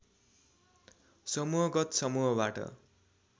समूहगत समूहबाट